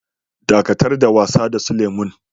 Dakatar da wasa da su lemu'n!